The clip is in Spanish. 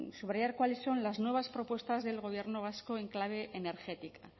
subrayar cuáles son las nuevas propuestas del gobierno vasco en clave energética